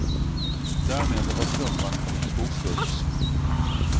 Därmed har strumpan kommit i fokus.